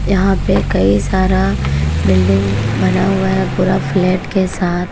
यहां पे कई सारा बिल्डिंग बना हुआ है पूरा फ्लैट के साथ।